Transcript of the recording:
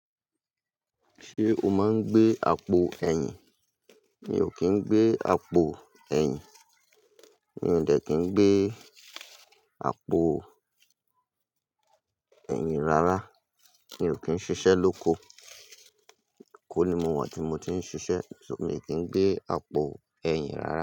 Ṣé o máa ń gbé àpò ẹ̀yìn? Mi ò kí ń gbé àpò ẹ̀yìn. Mi ò dẹ̀ kí ń gbé àpò ẹ̀yìn rárá. Mi ò kí ń ṣiṣẹ́ lóko. EKo ni mo wà ti mọ ti ń ṣiṣẹ́, ṣo mi kí ń gbé àpò ẹ̀yìn rárá.